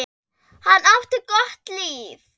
Hann átti gott líf.